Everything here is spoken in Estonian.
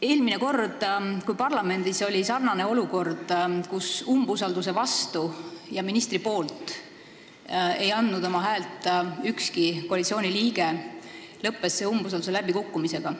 Eelmine kord, kui parlamendis oli olukord, kus umbusalduse vastu ja ministri poolt ei andnud oma häält ükski koalitsiooniliige, lõppes see umbusalduse läbikukkumisega.